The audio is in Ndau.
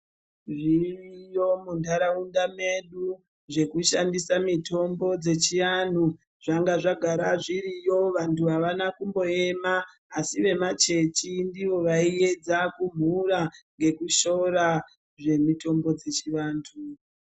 Zviriyo muntaraunda medu, zvekushandisa mitombo dzechiaanhu. Zvanga zvagara zviriyo vantu avana kumboema, asi vemachechi ndivo vaiedza kumhura ngekushoora, zvemitombo dzechivantu.